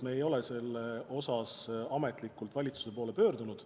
Me ei ole selle ettepanekuga ametlikult valitsuse poole pöördunud.